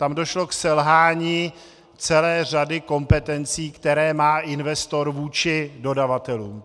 Tam došlo k selhání celé řady kompetencí, které má investor vůči dodavatelům.